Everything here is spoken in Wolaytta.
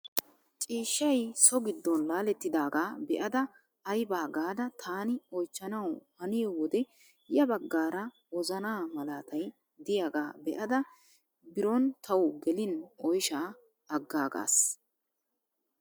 Ciishshay so giddon laalettidagaa be'ada aybaa gaada taani oychchanawu haniyoo wode ya baggaara wozanaa malaatay diyaagaa be'ada biron tawu gelin oyshshaa aggaagas!